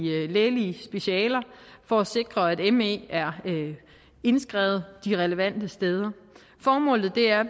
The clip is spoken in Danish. lægelige specialer for at sikre at me er indskrevet de relevante steder formålet er